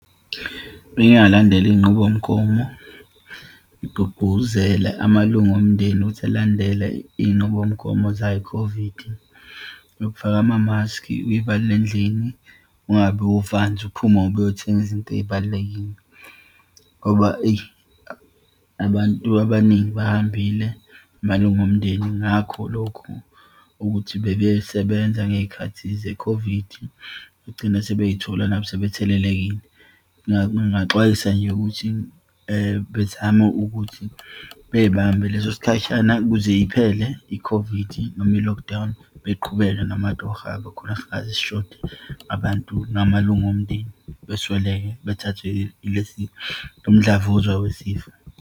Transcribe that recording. Bengingalandela iyinqubomgomo ngigqugquzele amalungu omndeni ukuthi elandele iyinqubomgomo zayo i-COVID, yokufaka amamaski, uyivalele endlini, ungabi uvanzi, uphume ngoba uyothenga izinto eyibalulekile. Ngoba eyi, abantu abaningi bahambile, amalunga omndeni, ngakho lokhu ukuthi bebesebenza ngeyikhathi ze-COVID, bagcine sebeyithola nabo sebethelekile. Ngingaxwayisa nje ukuthi bezame ukuthi beyibambe leso sikhashana ukuze iphele i-COVID, noma i-lockdown, beqhubeke namatohho khona singaze sishode abantu, namalunga omndeni besweleke, bethathwe ile sifo, lomdlavuza wesifo.